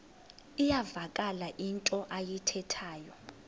iyavakala into ayithethayo